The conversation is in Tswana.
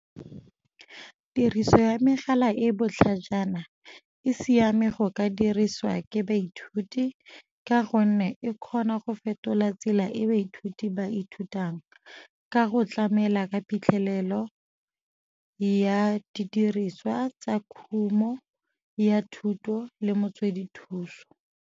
Tiriso ya megala e botlhajana e siame go ka diriswa ke baithuti ka gonne e kgona go fetola tsela e baithuti ba ithutang, ka go tlamela ka phitlhelelo ya didiriswa tsa khumo ya thuto le motswedi thuso.